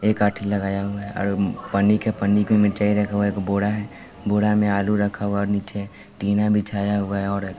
एक लगाया हुआ है आरो पन्नी के पन्नी पे मिरचाय रखा हुआ एक बोरा है बोरा में आलू रखा हुआ और नीचे टीना बिछाया हुआ और --